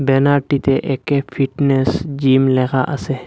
ব্যানারটিতে একে fitness gym লেখা আছে।